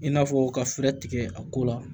I n'a fɔ ka fɛɛrɛ tigɛ a ko la